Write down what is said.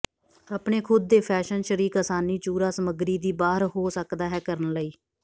ਆਪਣੇ ਖੁਦ ਦੇ ਫੈਸ਼ਨ ਸ਼ਰੀਕ ਆਸਾਨੀ ਚੂਰਾ ਸਮੱਗਰੀ ਦੀ ਬਾਹਰ ਹੋ ਸਕਦਾ ਹੈ ਕਰਨ ਲਈ